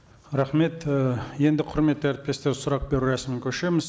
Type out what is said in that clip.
рахмет і енді құрметті әріптестер сұрақ беру рәсіміне көшеміз